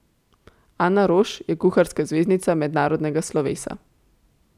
Ana Roš je kuharska zvezdnica mednarodnega slovesa.